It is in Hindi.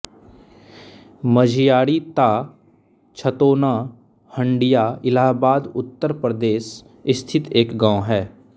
मझियारी ता छतौना हंडिया इलाहाबाद उत्तर प्रदेश स्थित एक गाँव है